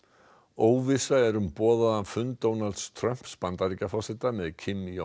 óvissa er um boðaðan fund Donalds Trumps Bandaríkjaforseta með